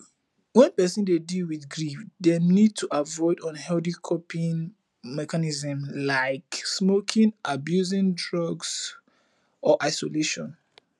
when person dey deal with grief dem need to avoid unhealthy coping mechnism like smoking abusing drugs or isolation